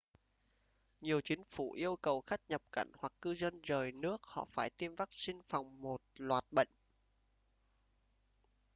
nhiều chính phủ yêu cầu khách nhập cảnh hoặc cư dân rời nước họ phải tiêm vắc-xin phòng một loạt bệnh